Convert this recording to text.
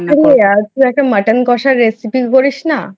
তুই আহ তুই একটা mutton কষার Recipe করিস না